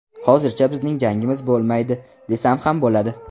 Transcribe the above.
Hozircha bizning jangimiz bo‘lmaydi, desam ham bo‘ladi.